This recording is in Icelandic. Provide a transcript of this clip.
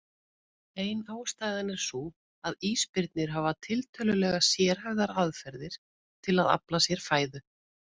Ein ástæðan er sú að ísbirnir hafa tiltölulega sérhæfðar aðferðir til að afla sér fæðu.